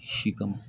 Si kama